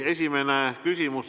Esimene küsimus.